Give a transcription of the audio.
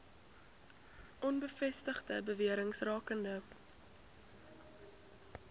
onbevestigde bewerings rakende